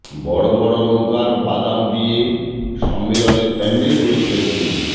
বড় বড় নৌকার বাদাম দিয়ে সম্মেলনের প্যান্ডেল করেছিলেন তিনি